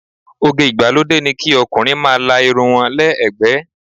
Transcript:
Oge ìgbàlódé ni kí ọkùnrin máa la irun wọn lẹ́ ẹ̀gbẹ́.